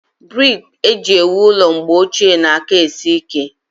Brik eju ewu ụlọ mgbe ọchie na-aka esi ike